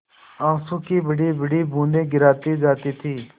आँसू की बड़ीबड़ी बूँदें गिराती जाती थी